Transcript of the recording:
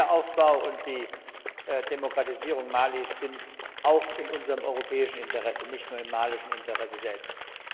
Der Wiederaufbau und die Demokratisierung Malis sind auch in unserem europäischen Interesse nicht nur im malischen Interesse selbst.